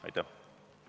Aitäh!